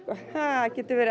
það getur verið